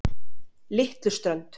Litluströnd